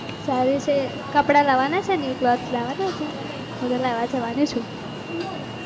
સારી છે કપડાં લાવાના છે ન્યુ ક્લોથસ લાવાના છે? હું તો લાવા જવાની છું.